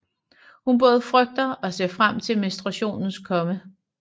Hun både frygter og ser frem til menstruationens komme